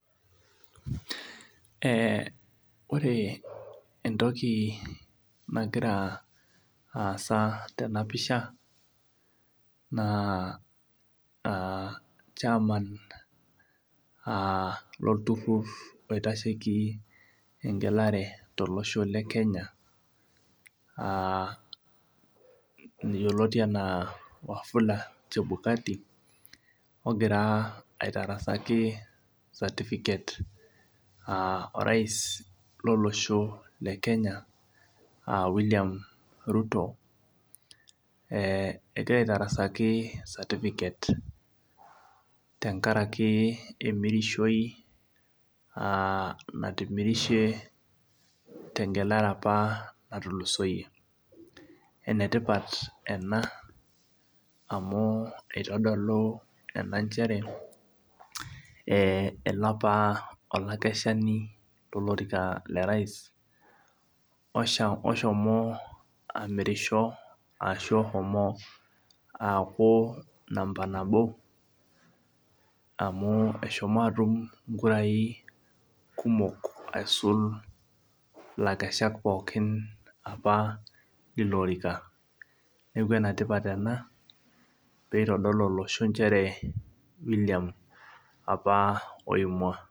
Ee ore entoki nagira aasa tena pisha naa chairman lolturur, oitasheiki eng'elare tolosho le Kenya yioloti anaa Wafula Chebulati, ogira aitarasaki certificate orais lolosho le Kenya William Ruto egira aitarasaki certificate tenkaraki natimirishe opa tengelare opa naatulusoiye amu keitodolu ena nchere ele opa olaikeshani lo rais oshomo amirisho ashu Osho aaku enamba nabo amu eshomo aatum inkurai kumok aisul laikeshak pookin opa leilo orika. Newuen aa ene tipat ena pee eitadolu olosho nchere William oimwa.